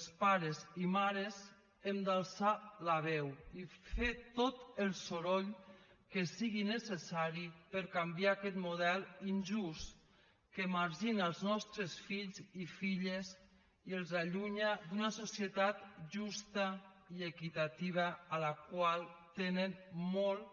els pares i mares hem d’alçar la veu i fer tot el soroll que sigui necessari per canviar aquest model injust que margina els nostres fills i filles i els allunya d’una societat justa i equitativa a la qual tenen molt